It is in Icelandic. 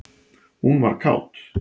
Hún var kát.